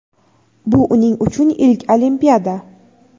Bu uning uchun ilk Olimpiada!.